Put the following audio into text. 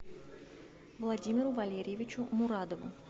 владимиру валерьевичу мурадову